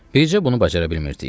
Heç bunu bacara bilmirdik.